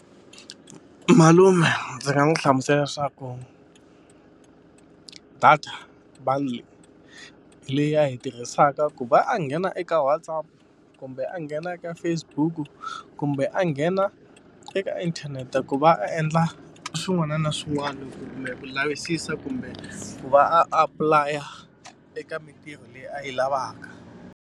Malume ndzi nga n'wi hlamusela leswaku data bundle leyi a yi tirhisaka ku va a nghena eka WhatsApp kumbe a nghena eka Facebook kumbe a nghena eka inthanete ku va a endla swin'wana na swin'wana kumbe ku lavisisa kumbe ku va a apulaya eka mintirho leyi a yi lavaka.